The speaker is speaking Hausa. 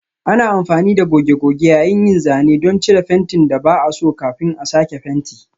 Ana amfani da goge-goge yayin yin zanen don cire fentin da ba a so kafin a sake fenti.